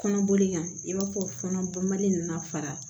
Kɔnɔboli kan i b'a fɔ kɔnɔ bɔ mali in nana fara